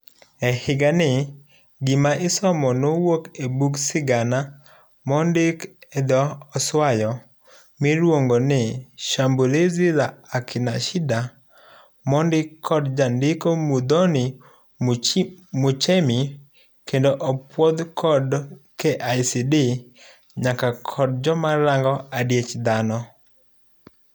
Ehigani, gima isomo nowuok e buk sigana mondiki edho oswayo, miluongo ni ''Shambulizil la Akina Shida''mondiki kod jandiko Muthoni Muchemi kendo opuodhi kod KICD nyaka kod joma rango adiech dhano.